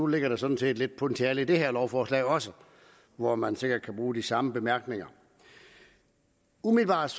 ligger der sådan set lidt potentiale i det her lovforslag også hvor man sikkert kan bruge de samme bemærkninger umiddelbart